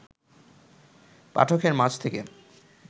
পাঠকের মাঝ থেকে